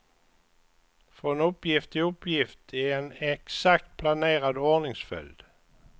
Från uppgift till uppgift i en exakt planerad ordningsföljd.